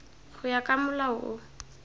go ya ka molao o